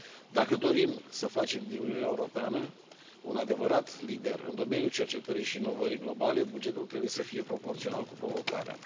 Dacă dorim să facem din Uniunea Europeană un adevărat lider în domeniul cercetării și inovării globale, bugetul trebuie să fie proporțional cu provocarea.